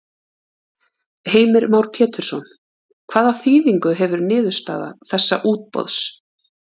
Heimir Már Pétursson: Hvaða þýðingu hefur niðurstaða þessa útboðs?